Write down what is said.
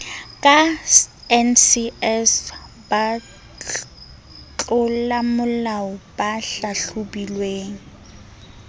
ka ncs batlolamolao ba hlahlobilweng